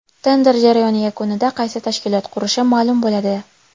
Tender jarayoni yakunida qaysi tashkilot qurishi ma’lum bo‘ladi”.